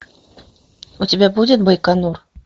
у тебя будет байконур